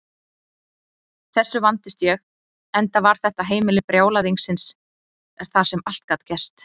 Þessu vandist ég, enda var þetta heimili brjálæðisins þar sem allt gat gerst.